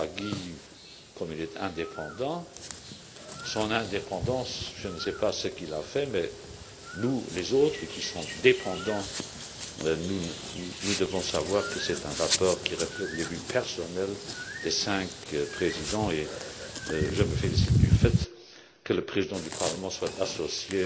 à M. Draghi, comme il est indépendant, je ne sais pas ce qu'il a fait mais nous, les autres, qui sommes dépendants, nous devons savoir que c'est un rapport qui reflète les vues personnelles des cinq présidents et je me félicite du fait que le président du Parlement soit associé